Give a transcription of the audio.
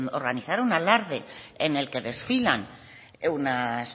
organizaron un alarde en el que desfilan unas